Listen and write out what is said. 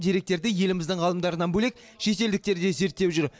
деректерді еліміздің ғалымдарынан бөлек шетелдіктер де зерттеп жүр